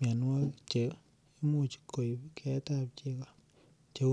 mianwogik cheimuch koip keetab chego